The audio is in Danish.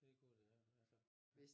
De kunne de ja altså